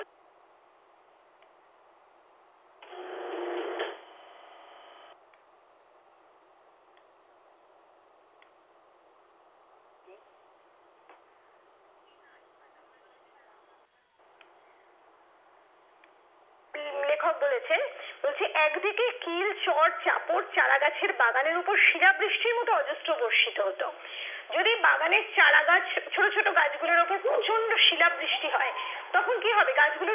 উম লেখক বলেছেন বলছি একদিকে কিল চট চাপড় চারা গাছের বাগানের উপর শিলাবৃষ্টির মত অজস্র বর্ষিত হতো যদি বাগানের চারা গাছ ছোট ছোট গাছগুলোর ওপর প্রচন্ড শিলাবৃষ্টি হয় তখন কি হবে গাছগুলোর